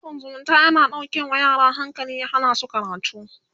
shafin zumunta yana dauƙe ma yara hankali ya Hana su karatu